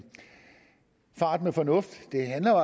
fart med fornuft det handler